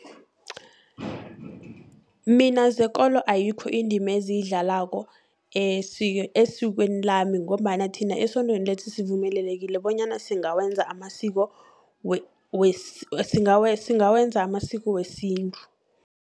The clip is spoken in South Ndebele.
Mina zekolo ayikho indima eziyidlalako esikweni lami, ngombana thina esondweni lethu sivumelelekile bonyana singawenza amasiko amasiko wesintu.